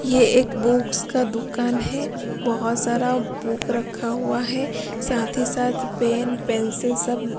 ये एक बुक्स का दुकान है बहुत सारा बुक रखा हुआ है साथ ही साथ पेन पेंसिल सब।